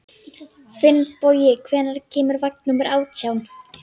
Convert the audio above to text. Finnbogi, hvenær kemur vagn númer átján?